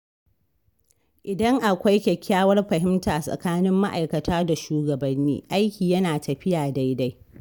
Idan akwai kyakkyawar fahimta tsakanin ma’aikata da shugabanni, aiki yana tafiya daidai.